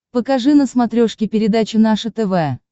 покажи на смотрешке передачу наше тв